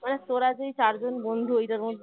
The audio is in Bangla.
মানে তোরা যেই চারজন বন্ধু ওইটার মধ্যে